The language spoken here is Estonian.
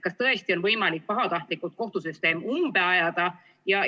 Kas tõesti on võimalik pahatahtlikult kohtusüsteem umbe ajada?